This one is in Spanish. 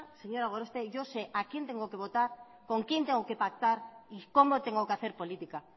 señora gorospe yo sé a quién tengo que votar con quién tengo que pactar y cómo tengo que hacer política